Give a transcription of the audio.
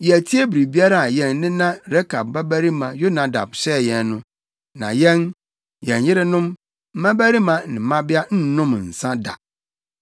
Yɛatie biribiara a yɛn nena Rekab babarima Yonadad hyɛɛ yɛn no. Na yɛn, yɛn yerenom, mmabarima ne mmabea nnom nsa da